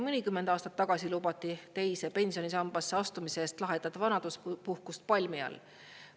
Mõnikümmend aastat tagasi lubati teise pensionisambasse astumise eest lahedat vanaduspuhkust palmi all.